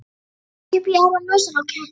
Ekki upp í aðra nösina á ketti.